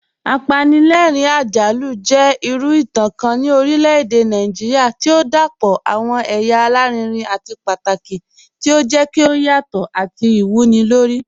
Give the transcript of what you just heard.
Apànlẹ̀rìn-àjàlù jẹ̀ ìrù ìtàn kàn ni orílẹ̀-èdè Nàìjíríà tí o dápọ̀ awọn èyà àlàrìnrìn àti pátàkì, tí o jẹ̀ kí o yàtọ̀ àti ìwúnilórí.